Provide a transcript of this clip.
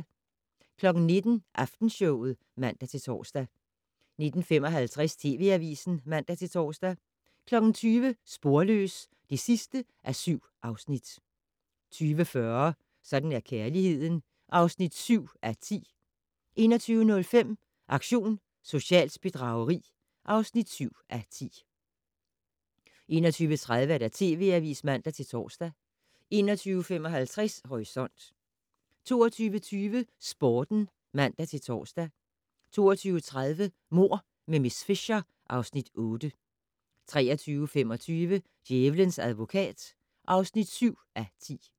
19:00: Aftenshowet (man-tor) 19:55: TV Avisen (man-tor) 20:00: Sporløs (7:7) 20:40: Sådan er kærligheden (7:10) 21:05: Aktion socialt bedrageri (7:10) 21:30: TV Avisen (man-tor) 21:55: Horisont 22:20: Sporten (man-tor) 22:30: Mord med miss Fisher (Afs. 8) 23:25: Djævelens advokat (7:10)